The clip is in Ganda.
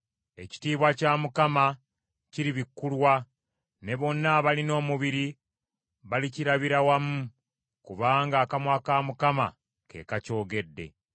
Ekitiibwa kya Mukama kiribikkulwa, ne bonna abalina omubiri balikirabira wamu, kubanga akamwa ka Mukama ke kakyogedde.”